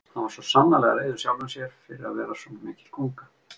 Hann var svo sannarlega reiður sjálfum sér fyrir að vera svona mikil gunga.